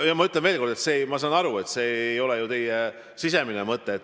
Ma ütlen veel kord, et ma saan aru, et see ei ole ju teie mõte.